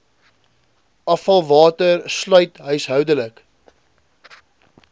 afvalwater sluit huishoudelike